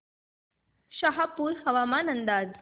शहापूर हवामान अंदाज